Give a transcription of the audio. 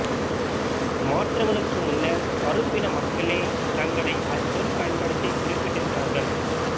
மாற்றங்களுக்கு முன்னர் கறுப்பின மக்களே தங்களை அச்சொல் பயன்படுத்தி குறிப்பிட்டிருக்கிறார்கள்